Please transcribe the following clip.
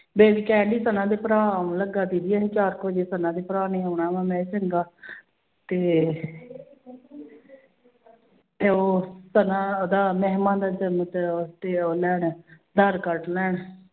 ਕਹਿਣਡੀ ਸਨਾ ਦੇ ਭਰਾ ਆਉਣ ਲੱਗਾ ਬੀਬੀ ਇਹ ਚਾਰ ਕੁ ਵਜੇ ਸਨਾ ਦੇ ਭਰਾ ਨੇ ਆਉਣਾ ਵਾਂ, ਮੈਂ ਕਿਹਾ ਚੰਗਾ ਤੇ ਉਹ ਸਨਾ ਉਹਦਾ ਮਹਿਮਾ ਦਾ ਲੈਣ, ਆਧਾਰ ਕਾਰਡ ਲੈਣ।